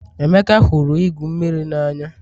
Emeka hụrụ igwu mmiri n'anya